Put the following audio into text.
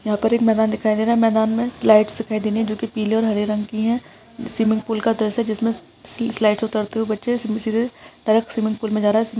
यहाँ पर एक मैदान दिखाई दे रहा है मैदान में एक स्लाइड्स दिखाई दे रही है जोकी पीले और हरे रंग की हैस्विमिंगपूल का दृश्य है जिमसे स्लाइड्स से उतरते हुए बच्चे सीधे-सीधे डायरेक्ट स्विमिंगपूल में जा रहा ह--